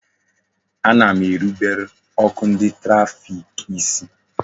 Ana m erubere ọkụ ndị trafik isi